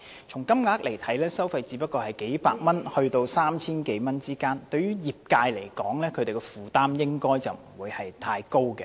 從金額來看，收費只是數百元至 3,000 多元之間，對業界的負擔應該不會太大。